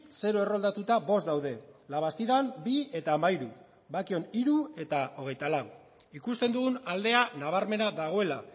zero erroldatuta bost daude la bastidan bi eta hamairu bakion hiru eta hogeita lau ikusten dugun aldea nabarmena dagoela